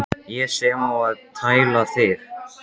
Ég sem á að tæla þig.